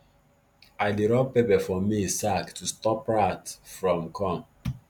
i dey rub pepper for maize sack to stop rat from come